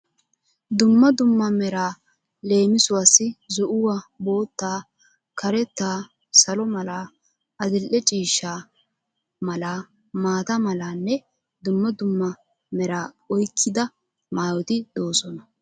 Dumma dumma meraa leemisuwaassi zo'uwaa, boottaa, karetta, salo mala, adil'e ciishsha mala, maata malanne dumma dumma mera oyikkida maayoti doosona.